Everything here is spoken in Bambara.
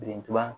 Birintuba